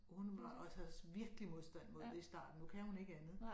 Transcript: Og hun var også havde virkelig modstand mod det i starten nu kan hun ikke andet